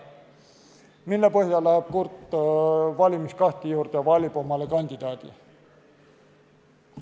Mille põhjal läheb kurt valimiskasti juurde ja valib?